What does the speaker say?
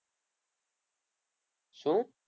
શું?